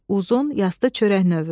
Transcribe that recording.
uzun, yastı çörək növü.